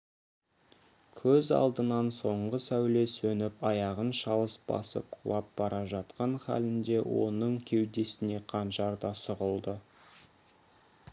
көз алдынан соңғы сәуле сөніп аяғын шалыс басып құлап бара жатқан халінде оның кеудесіне қанжар да сұғылды